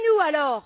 Et nous alors?